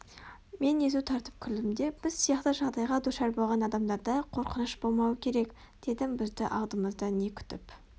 мен езу тартып күлдім де біз сияқты жағдайға душар болған адамдарда қорқыныш болмауы керек дедім бізді алдымызда не күтіп